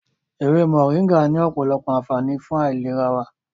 Ewé Mọ̀ríngà ní ọ̀pọ̀lọpọ̀ ànfààní fún ìlera wa.